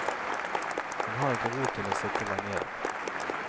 Hun har ikke ro til å sitte lenge i dag.